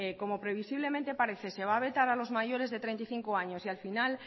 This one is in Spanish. como previsiblemente parece se va a vetar a los mayores de treinta y cinco años y al final